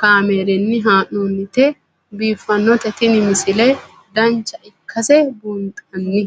kaameerinni haa'noonnite biiffannote tini misile dancha ikkase buunxanni